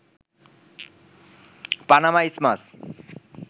Panama isthmus